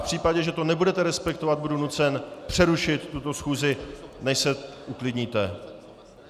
V případě, že to nebudete respektovat, budu nucen přerušit tuto schůzi, než se uklidníte.